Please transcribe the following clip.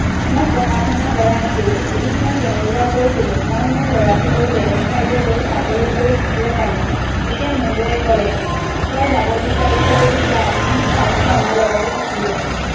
মই পঢ়া শুনা কৰা আছিলোঁ এদিন মই তেওঁ লোকক কৈছিলো মই মোৰ ল'ৰাটো লৈ বেলেগ ঠাইলৈ চাকৰি কৰি থাকিব পাৰিম তেতিয়া নবৌৱে ক'লে তই যাব বিচাৰিছ যদি যা কিন্তু পাৰ্থ আমাৰ লগতে থাকিব